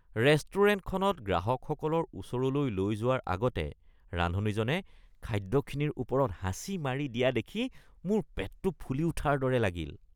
ৰেষ্টুৰেণ্টখনত গ্ৰাহকসকলৰ ওচৰলৈ লৈ যোৱাৰ আগতে ৰান্ধনীজনে খাদ্যখিনিৰ ওপৰত হাঁচি মাৰি দিয়া দেখি মোৰ পেটটো ফুলি উঠাৰ দৰে লাগিল।